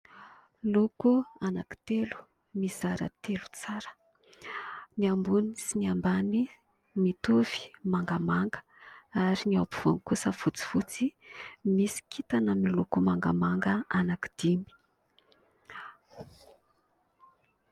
Loko anankitelo mizara telo tsara ny ambony sy ny ambany mitovy mangamanga ary ny ampovoany kosa fotsifotsy misy kintana amin'ny loko mangamanga anankidimy.